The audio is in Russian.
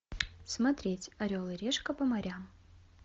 смотреть орел и решка по морям